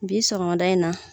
Bi sɔgɔmada in na.